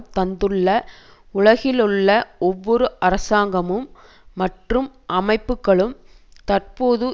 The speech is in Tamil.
தந்துள்ள உலகிலுள்ள ஒவ்வொரு அரசாங்கமும் மற்றும் அமைப்புக்களும் தற்போது